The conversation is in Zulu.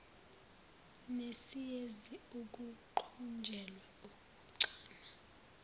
nesiyezi ukuqunjelwa ukuchama